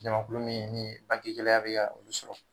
Jamakulu min ni bange gɛlɛyaya bɛ ka olu sɔrɔ